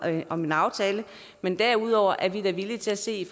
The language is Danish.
om den aftale men derudover er vi da villige til at se